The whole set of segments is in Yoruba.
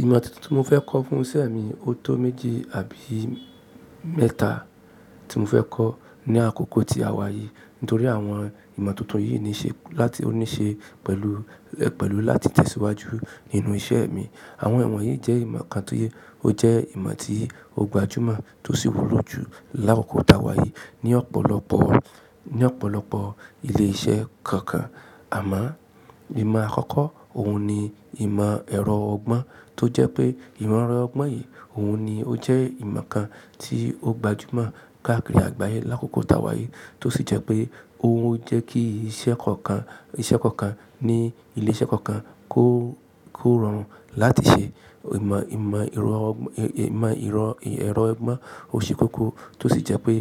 Ìmọ tuntun tí mo fẹ́ kọ́ fún iṣẹ́ mi, ó tó méjì àbí mẹ́ta tí mo fẹ́ kọ́ ní àkókò tí àwa yìí. Nítorí àwọn ìmọ̀ tuntun yìí ní ṣe láti ó ní ṣe pẹ̀lú, pẹ̀lú láti tẹ̀síwájú nínú iṣẹ́ mi. Àwọn ìmọ̀ yìí jẹ́ ìmọ̀ kan tó yẹ, ó jẹ́ ìmọ̀ tí ó gbajúmọ̀ tó sì wúlò jù lákòókò táwa yìí ní ọ̀pọ̀lọpọ̀, ní ọ̀pọ̀lọpọ̀ ilé iṣẹ́ kọ̀ọ̀kan. Àmá ìmọ̀ àkọ́kọ́ òhun ni ìmọ̀ ẹ̀rọ ọgbọ́n tó jẹ́ pé ìmọ̀ ẹ̀rọ ọgbọ́n yìí òhun ni ó jẹ́ ìmọ̀ kan tí ó gbajúmọ̀ káàkiri àgbáyé lákòókò táwa yìí tó sì jẹ́ pé ó jẹ́ kí iṣẹ́ kankan, iṣẹ́ kankan ní ilé iṣẹ́ kankan kó, kó ràn án láti ṣe ìmọ̀, ìmọ̀ ìrọ̀ ọgbọ́n, ìmọ̀ ìrọ̀, ẹ̀rọ ọgbọ́n ó ṣe kókó tó sì jẹ́ pé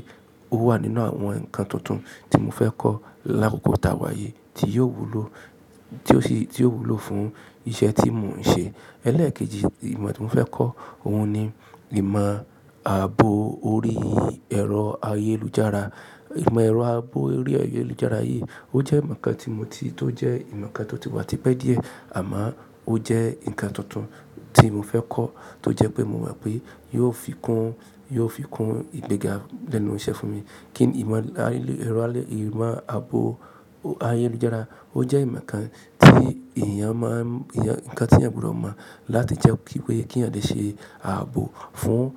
ó wà nínú àwọn ǹkan tuntun tí mo fẹ́ kọ́ lákòókò táwa yìí tí yóò wúlò, tí ó sì, tí yóò wúlò fún iṣẹ́ tí mò ń ṣe. Ẹlẹ́ẹ̀kejì ìmọ̀ tí mo fẹ́ kọ́ òhun ni ìmọ̀ ààbò orí ẹ̀rọ ayélujára. Ìmọ̀ ẹ̀rọ ààbò orí ayélujára yìí ó jẹ́ ǹkan tí mo ti, tó jẹ́ ìmọ̀ kan tó ti wà tipẹ́ díẹ̀ àmá ó jẹ́ ǹkan tuntun tí mo fẹ́ kọ́ tó jẹ́ pé mo mọ̀ pé yóò fi kún, yóò fi kún ìgbéga lẹ́nu iṣẹ́ fún mi. Kí ìmọ̀ alẹ́, ẹ̀rọ alẹ́, ìmọ̀ ààbò ayélujára ó jẹ́ ìmọ̀ kan tí èèyàn má ń, ǹkan tí ẹniyan gbúdò mo láti jẹ́ kí wí, kí èèyàn lè ṣe ààbò fún,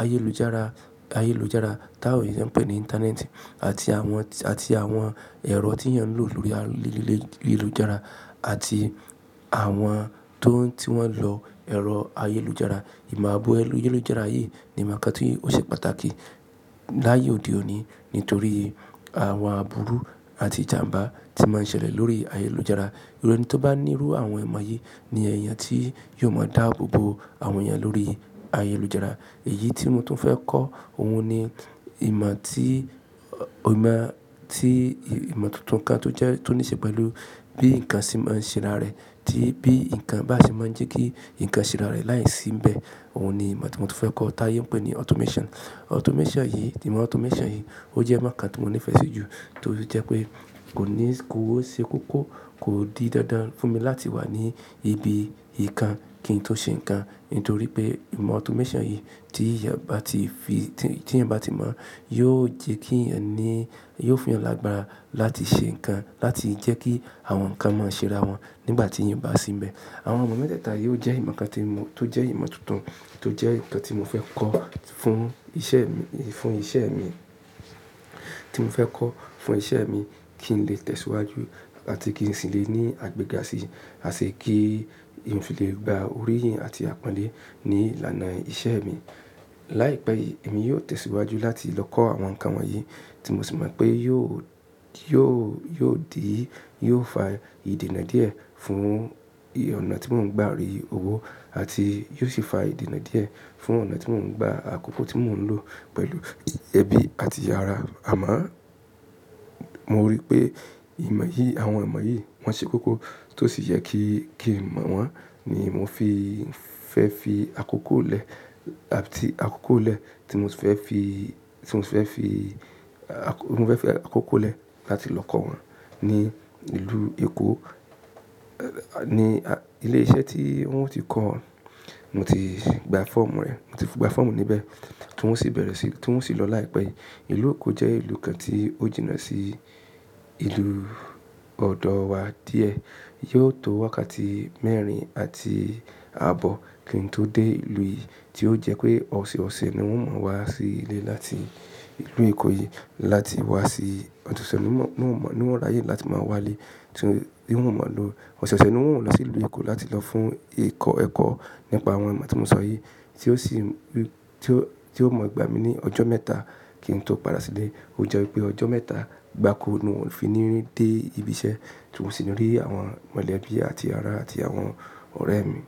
ayélujára, ayélujára táwọn èèyàn ń pè ní Íńtánẹ́ẹ̀tì àti àwọn, àti àwọn ẹ̀rọ tí èèyàn ń lò lórí ayélujára àti àwọn tó, tí wọ́n ń lo ẹ̀rọ ayélujára. Ìmọ̀ ààbò ayélujára yìí ni ǹkan tí ó ṣe pàtàkì láyé òde òní nítorí àwọn àbúrú àti ìjàǹbá tí máa ń ṣẹlẹ̀ lórí ayélujára. Ẹni tó bá nírú àwọn ìmọ̀ yìí ni èèyàn tí yóò mọ̀ dá abobo àwọn èèyàn lórí ayélujára. Èyí tí mo tún fẹ́ kọ́ òhun ni ìmọ̀ tí, ìmọ̀ tí, ìmọ̀ tuntun kan tó jẹ́, tó ní ṣe pẹ̀lú bí ǹkan ṣe máa ń ṣẹ́ra rẹ̀ tí, bí ǹkan bá ṣe máa ń jẹ́ kí ǹkan ṣẹ́ra rẹ̀ láìsínbẹ̀. Òhun ni ìmọ̀ tí mo tún fẹ́ kọ́ táye ń pè ní automation. Automation yìí, ìmọ̀ automation yìí ó jẹ́ ǹkan tí mo nífẹ̀ẹ́ sí jù torí jẹ́ pé kò ní, kò ó ṣe kókó, kò di dandan fún mi láti wà ní ibi ìkan kí n tó ṣe ǹkan nítorí pé ìmọ̀ automation yìí tí èèyàn bá ti fi, tí èèyàn bá ti mọ̀ yóò jẹ́ kí èèyàn ní, yóò fún èèyàn lágbára láti ṣe ǹkan láti jẹ́ kí àwọn ǹkan máa ṣẹ́ra wọn nígbà tí èèyàn bá sínbẹ̀. Àwọn ìmọ̀ mẹ́tẹ́ẹ̀ta yìí ó jẹ́ ìmọ̀ kan tí mo, tó jẹ́ ìmọ̀ tuntun tó jẹ́ ǹkan tí mo fẹ́ kọ́ fún iṣẹ́ mi, fún iṣẹ́ mi, tí mo fẹ́ kọ́ fún iṣẹ́ mi kí n lè tẹ̀síwájú àti kí n sì lè ní àgbéga sí, àṣẹ kí èmi sì lè gba oríyìn àti àpọ́nlé ní ilàná iṣẹ́ mi. Láìpẹ́ yìí èmi yóò tẹ̀síwájú láti lọ kọ́ àwọn ǹkan wọ̀nyí tí mo sì mọ̀ pé yóò, yóò, yóò di, yóò fa ìdènà díẹ̀ fún ọ̀nà tí mò ń gba rí owó àti yóò sì fa ìdènà díẹ̀ fún ọ̀nà tí mò ń gba àkókò tí mò ń lò pẹ̀lú ẹbí àti ará. Àmá mo rí pé ìmọ̀ yìí, àwọn ìmọ̀ yìí wọ́n ṣe kókó tó sì yẹ kí, kí nmọ̀ wọn ni mò ń fi fẹ́ fi àkókò lẹ̀ àti àkókò lẹ̀ tí mò tuń fẹ́ fi, tí mò tuń fẹ́ fi, àkọ́, mò ń fẹ́ fi àkókò lẹ̀ láti lọ kọ́ wọn ní ìlú Èkó ní ilé iṣẹ́ tí wọ́n ó ti kọ́ wọn. Mo ti gba fọ́ọ̀mù rẹ̀, mo ti gba fọ́ọ̀mù níbẹ̀ tó ń osì bẹ̀rẹ̀ sí, tó ń osì lọ láìpẹ́ yìí. Ìlú Èkó jẹ́ ìlú kan tí ó jìnnà sí ìlú ọ̀dọ̀ wa díẹ̀. Yóò tó wákàtí mẹ́rin àti ààbọ̀ kí n tó dé ìlú yìí tí ó jẹ́ pé ọ̀sẹ̀ọ̀sẹ̀ ni wọ́n máa ń wá sí ilé láti ìlú Èkó yìí láti wá sí Ọ̀túnṣẹ̀ níwọ́n, níwọ́n ráyè láti máa wá lé. Tí wọ́n ò mọ̀ lo ọ̀sẹ̀ọ̀sẹ̀ ni wọ́n ó lọ sí ìlú Èkó láti lọ fún ìkọ́ ẹ̀kọ́ nípa àwọn ìmọ̀ tí mò ń sọ yìí tí ó sì rí, tí ó, tí ó mọ̀ igba mi ní ọjọ́ mẹ́ta kí n tó padà sílé. Ó jeọ wipé ọjọ́ mẹ́ta gbáko ni n ò fi ní dé ibi iṣẹ́ tó sì ni rí àwọn mọ̀lẹ́bí àti ará àti àwọn ọ̀rẹ́ mi.